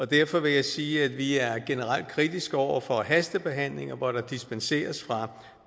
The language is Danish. derfor vil jeg sige at vi er generelt kritiske over for hastebehandlinger hvor der dispenseres fra